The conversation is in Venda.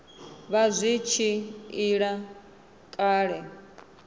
vha zwi tshi ila kale